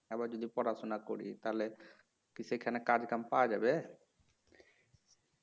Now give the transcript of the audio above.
আবার যদি পড়াশোনা করি তাহলে কি সেখানে কাম কাজ পাওয়া যাবে"